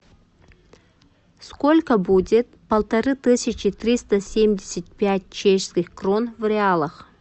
сколько будет полторы тысячи триста семьдесят пять чешских крон в реалах